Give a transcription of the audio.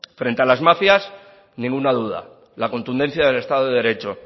frente a las mafias ninguna duda la contundencia del estado de derecho